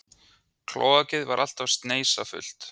Klóakið var alltaf sneisafullt.